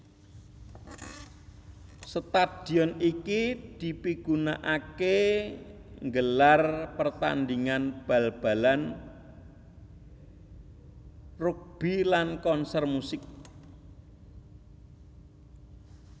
Stadion iki dipigunakaké nggelar pertandingan bal balan rugbi lan konsèr musik